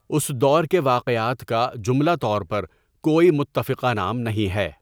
اس دور کے واقعات کا جملہ طور پر کوئی متفقہ نام نہیں ہے۔